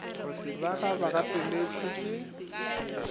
ba ga ba gapeletšwe ke